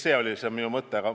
See oli minu mõte.